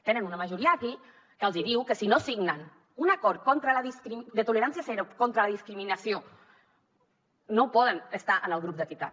tenen una majoria aquí que els hi diu que si no signen un acord contra la discriminació de tolerància zero contra la discriminació no poden estar en el grup d’equitat